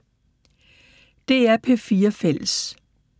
DR P4 Fælles